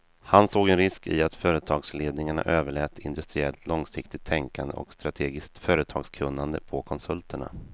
Han såg en risk i att företagsledningarna överlät industriellt långsiktigt tänkande och strategiskt företagskunnande på konsulterna.